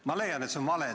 Ma leian, et see on vale.